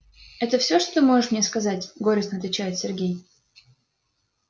это всё что ты можешь мне сказать горестно отвечает сергей